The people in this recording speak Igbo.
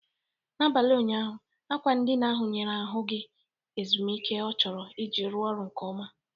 N'abalị ụnyaahụ, akwa ndina ahụ nyere ahụ gị ezumike ọ chọrọ iji rụọ ọrụ nke ọma.